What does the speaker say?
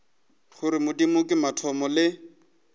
gore modimo ke mathomo le